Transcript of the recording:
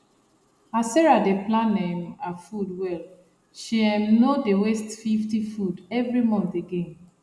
as sarah dey plan um her food well she um no dey waste 50 food every month again